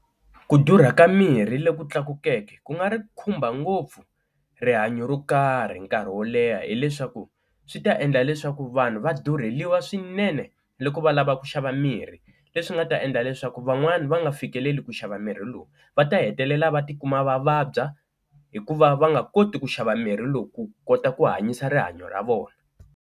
Ku durha ka mirhi lo ku tlakukeke ku nga ri khumba ngopfu rihanyo ro karhi nkarhi wo leha hileswaku swi ta endla leswaku vanhu va durheliwa swinene loko va lava ku xava va mirhi leswi nga ta endla leswaku van'wani va nga fikeleli ku xava mirhi lowu, va ta hetelela va tikuma va vabya hikuva va nga koti ku xava mirhi lowu ku kota ku hanyisa rihanyo ra vona.